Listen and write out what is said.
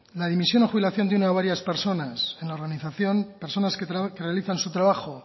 la dimisión o jubilación de una o varias personas en la organización personas que realizan su trabajo